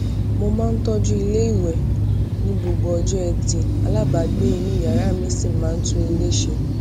mo máa ń tọjú iléìwè ní gbogbo ọjó ẹtì alábàágbé inú yàrá mi sì máa ń tún ilè ṣe